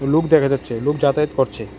লোক দেখা যাচ্ছে লোক যাতায়াত করছে।